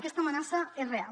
aquesta amenaça és real